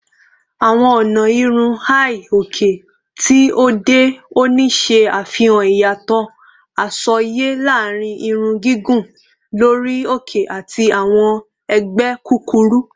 Awọn ọna irun hi-oke ti ode oni ṣe afihan iyatọ asọye laarin irun gigun lori oke ati awọn ẹgbẹ kukuru